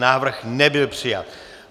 Návrh nebyl přijat.